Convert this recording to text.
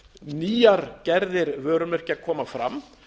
nýjar gerðir vörumerkja koma fram